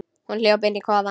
Hún hljóp inn í kofann.